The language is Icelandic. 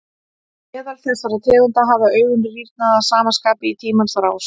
Meðal þessara tegunda hafa augun rýrnað að sama skapi í tímans rás.